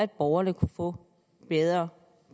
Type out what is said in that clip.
borgerne kunne få bedre